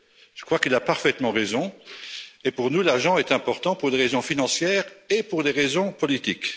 Je crois qu'il a parfaitement raison et, pour nous, l'agent est important, pour des raisons financières et pour des raisons politiques.